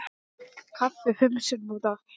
Kaffi fimm sinnum á dag.